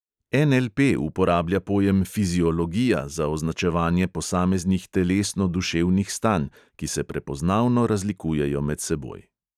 NLP uporablja pojem fiziologija za označevanje posameznih telesno-duševnih stanj, ki se prepoznavno razlikujejo med seboj.